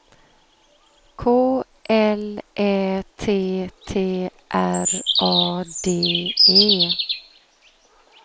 K L Ä T T R A D E